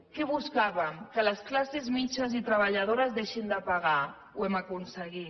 què buscàvem que les classes mitjanes i treballadors i treballadores deixin de pagar ho hem aconseguit